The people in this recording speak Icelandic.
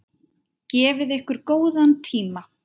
Gefið ykkur góðan tíma.